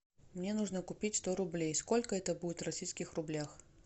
мне нужно купить сто рублей сколько это будет в российских рублях